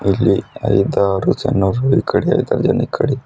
ಇಲ್ಲಿ ಐದಾರು ಜನರು ಈಕಡಿ ಈಕಡಿ--